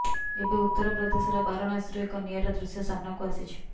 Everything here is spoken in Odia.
ଏବେ ଉତ୍ତର ପ୍ରଦେଶର ବାରାଣସୀରୁ ଏକ ନିଆରା ଦୃଶ୍ୟ ସାମ୍ନାକୁ ଆସିଛି